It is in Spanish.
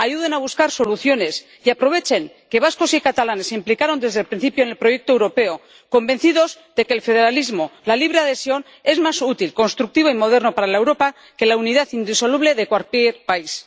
Ayuden a buscar soluciones y aprovechen que vascos y catalanes se implicaron desde el principio en el proyecto europeo, convencidos de que el federalismo, la libre adhesión, es más útil, constructivo y moderno para Europa que la unidad indisoluble de cualquier país.